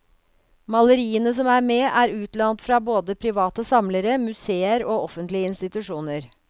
Maleriene som er med, er utlånt fra både private samlere, museer og offentlige institusjoner.